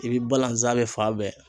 I bi balanza bɛ fan bɛɛ